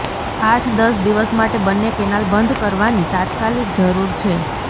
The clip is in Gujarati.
આઠ દસ દિવસ માટે બન્ને કેનાલ બંધ કરવાની તાત્કાલિક જરૃર છે